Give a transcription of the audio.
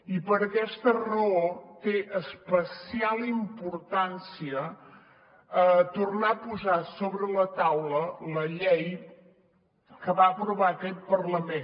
i per aquesta raó té especial importància tornar a posar sobre la taula la llei que va aprovar aquest parlament